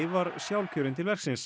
var sjálfkjörin til verksins